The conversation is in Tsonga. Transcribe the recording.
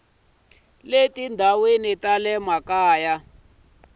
le tindhawini ta le makaya